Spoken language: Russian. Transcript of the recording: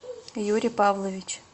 юрий павлович